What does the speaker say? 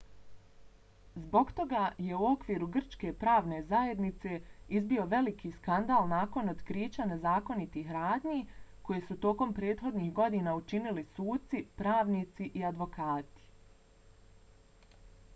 zbog toga je u okviru grčke pravne zajednice izbio veliki skandal nakon otkrića nezakonitih radnji koje su tokom prethodnih godina činili suci pravnici i advokati